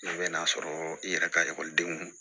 I bɛ n'a sɔrɔ i yɛrɛ ka ekɔlidenw